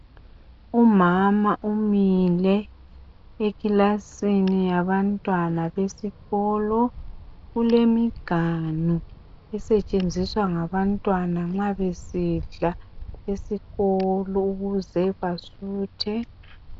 Umama umile eclasini yabantwana besikolo ulemiganu esentshenziswa ngabantwana nxa besidla esikolo ukuze basuthe